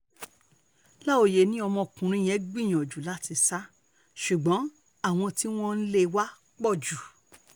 láòyé ni ọmọkùnrin yẹn gbìyànjú láti sá ṣùgbọ́n àwọn tí wọ́n lé e wá pọ̀ jù